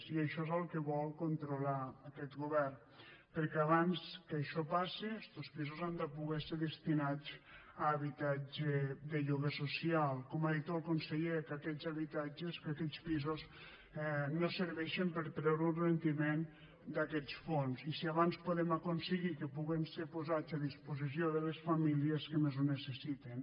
i això és el que vol controlar aquest govern perquè abans que això passe estos pisos han de poder ser destinats a habitatge de lloguer social com ha dit el conseller que aquests habitatges que aquests pisos no serveixen per a treure un rendiment d’aquests fons si abans podem aconseguir que puguen ser posats a disposició de les famílies que més ho necessiten